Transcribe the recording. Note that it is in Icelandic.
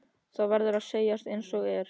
Það verður að segjast einsog er.